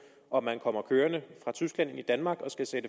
om man kommer kørende fra tyskland ind i danmark